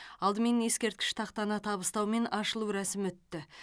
алдымен ескерткіш тақтаны табыстау мен ашылу рәсімі өтті